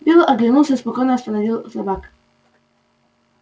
билл оглянулся и спокойно остановил собак